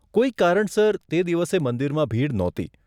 કોઈક કારણસર તે દિવસે મંદિરમાં ભીડ નહોતી.